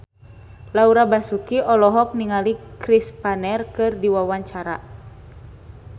Laura Basuki olohok ningali Chris Pane keur diwawancara